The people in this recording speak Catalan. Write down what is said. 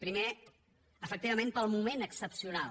primer efectivament pel moment excepcional